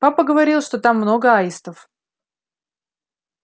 папа говорил что там много аистов